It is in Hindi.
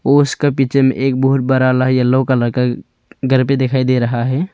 और उसका पीछे में एक बहुत बड़ा ल येलो कलर का घर भी दिखाई दे रहा है।